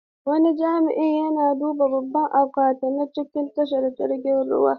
Wani jami'i yana duba babban akwati na a tashar jiragen ruwa.